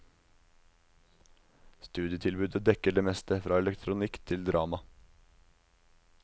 Studietilbudet dekker det meste, fra elektronikk til drama.